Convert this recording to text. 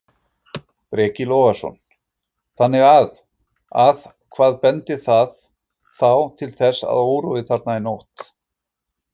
Breki Logason: Þannig að, að hvað bendir það þá til þessi órói þarna í nótt?